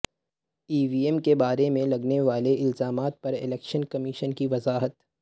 ای V M کے بارے میں لگنےوالے الزامات پر الیکشن کمیشن کی وضاحت